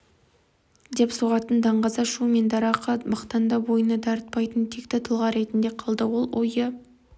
деп соғатын даңғаза шу мен дарақы мақтанды бойына дарытпайтын текті тұлға ретінде қалды ол ойы